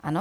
Ano.